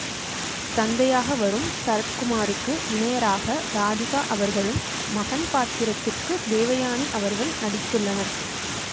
தந்தையாக வரும் சரத்குமாருக்கு இணையராக ராதிகா அவர்களும் மகன் பாத்திரத்திற்கு தேவயானி அவர்கள் நடித்துள்ளனர்